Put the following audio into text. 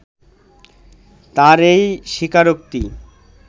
তাঁর এই স্বীকারোক্তি